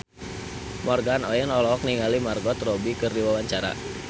Morgan Oey olohok ningali Margot Robbie keur diwawancara